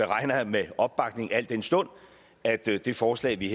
regner med opbakning al den stund at det det forslag vi